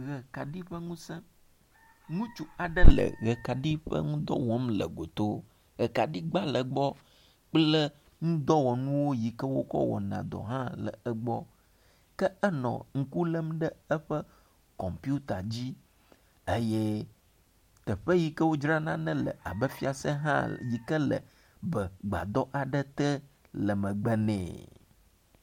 Ʋekaɖi ƒe ŋusẽ, Ŋutsui aɖe le ʋe kaɖi ƒe ŋudɔ wɔm le goto. ʋekaɖi gba le egbɔ kple nudɔwɔnuwo yi ke wo kɔ wɔna dɔ hã le egbɔ. Ke enɔ ŋku lem ɖe eƒe kɔmpita dzi eye teƒe yi ke wodzrana nane le abe fiase hã yike le begbadɔ aɖe te le megbe ne.